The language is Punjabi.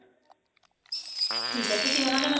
ਠੀਕ ਹੈ ਤੁਸੀਂ ਉਹਨਾ ਡੇ